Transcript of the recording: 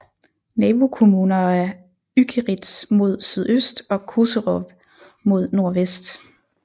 Nabokommuner er Ückeritz mod sydøst og Koserow mod nordvest